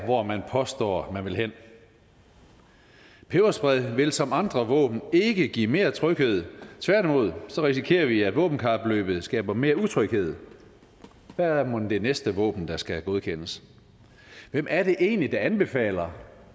hvor man påstår man vil hen peberspray vil som andre våben ikke give mere tryghed tværtimod risikerer vi at våbenkapløbet skaber mere utryghed hvad er mon det næste våben der skal godkendes hvem er det egentlig der anbefaler